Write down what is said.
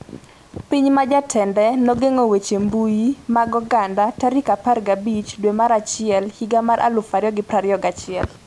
Piny ma jatende nogeng'o weche mbui mag oganda 15 dwe mar achiel higa mar 2021